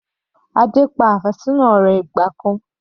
Adé pa àfẹ́sọ́nà rẹ̀ ìgbà kan.